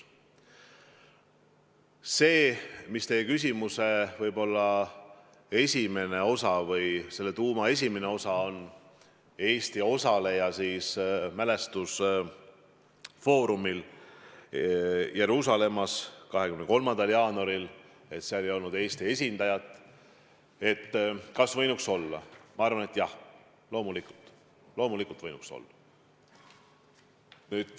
Mis puutub teie küsimuse tuuma, miks 23. jaanuaril toimunud mälestusfoorumil Jeruusalemmas ei olnud Eesti esindajat, siis ma arvan, et jah, loomulikult võinuks seal meie esindaja olla.